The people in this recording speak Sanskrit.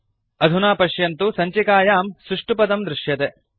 अधुना पश्यन्तु सञ्चिकायां सुष्टुपदं दृश्यते